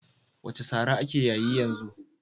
What slang is trending now?